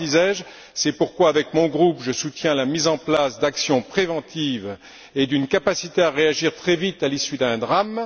disais je, c'est pourquoi, avec mon groupe, je soutiens la mise en place d'actions préventives et d'une capacité à réagir très vite à l'issue d'un drame.